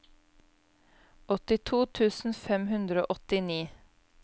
åttito tusen fem hundre og åttini